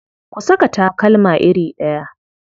Ku saka takalma iri ɗaya.